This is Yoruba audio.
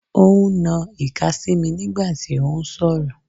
Ó ń na ìka sí mi nígbà tí ó ń sọ̀rọ̀.